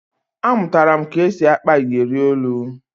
Amụtara m ka e si akpa iyeri olu